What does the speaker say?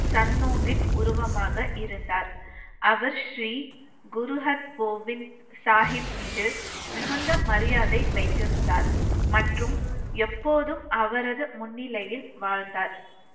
சன்னோகித் உருவமாக இருந்தார் அவர் ஸ்ரீ குரு அர் கோவிந்த் சாகிப் மீது மிகுந்த மரியாதை வைத்திருந்தார் மற்றும் எப்போதும் அவரது முன்னிலையில் வாழ்ந்தார்